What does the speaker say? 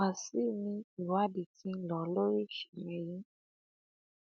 wàṣíù ni ìwádìí ti ń lọ lórí ìṣẹlẹ yìí